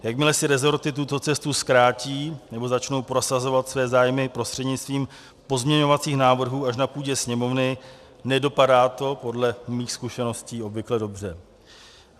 Jakmile si resorty tuto cestu zkrátí nebo začnou prosazovat své zájmy prostřednictvím pozměňovacích návrhů až na půdě Sněmovny, nedopadá to podle mých zkušeností obvykle dobře.